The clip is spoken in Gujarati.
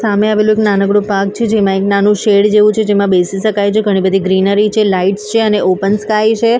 સામે આવેલું એક નાનકડું પાર્ક છે જેમાં એક નાનું શેડ જેવું છે જેમાં બેસી સકાય ઘણી બધી ગ્રીનરી છે લાઇટ્સ છે અને ઓપન સ્કાય છે--